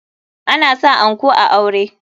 Ana sa anko a aure.